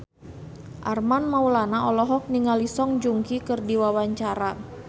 Armand Maulana olohok ningali Song Joong Ki keur diwawancara